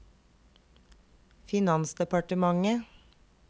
finansdepartementet